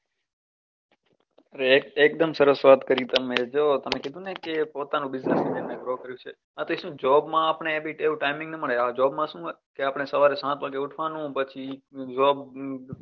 અરે એ એકદમ સરસ વાત કરી તમે જો તમ કીધું ને કે પોતાનો business ને grow કર્યું છે આ તે શું job માં આપણે એવું timing ના મળે job માં શું હોય કે આપણે સવારે સાત વાગે ઉઠવાનું પછી